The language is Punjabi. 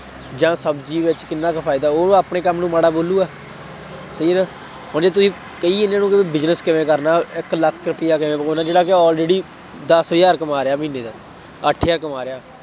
ਜਾਂ ਸ਼ਬਜ਼ੀ ਵਿੱਚ ਕਿੰਨਾ ਕੁ ਫਾਇਦਾ, ਉਹਨੂੰ ਆਪਣੇ ਕੰਮ ਨੂੰ ਮਾੜਾ ਬੋਲੂਗਾ, ਸਹੀ ਹੈ ਨਾ, ਹੁਣ ਜੇ ਤੁਸੀਂ ਕਹੀਏ ਇਹਨਾ ਨੂੰ ਕਿ business ਕਿਵੇਂ ਕਰਨਾ, ਇੱਕ ਲੱਖ ਰੁਪਇਆ ਕਿਵੇਂ ਕਮਾਉਣਾ, ਜਿਹੜਾ ਕਿ already ਦਸ ਹਜ਼ਾਰ ਕਮਾ ਰਿਹਾ ਮਹੀਨੇ ਦਾ, ਅੱਠ ਹਜ਼ਾਰ ਕਮਾ ਰਿਹਾ,